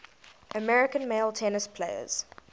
american male tennis players